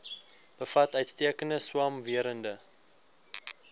bevat uitstekende swamwerende